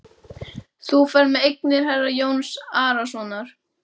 Þú ferð með eignir herra Jóns Arasonar.